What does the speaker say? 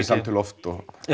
samtöl oft